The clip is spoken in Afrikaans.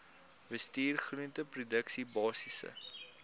bestuur groenteproduksie basiese